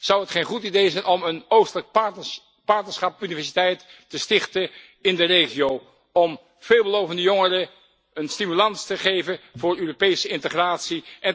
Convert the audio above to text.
Zou het geen goed idee zijn om een Oostelijk Partnerschap Universiteit te stichten in de regio om veelbelovende jongeren een stimulans te geven voor Europese integratie?